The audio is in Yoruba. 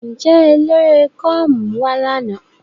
Nje elere gurmi wa lana?